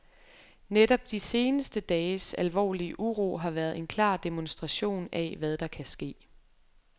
Netop de seneste dages alvorlige uro har været en klar demonstration af, hvad der kan ske.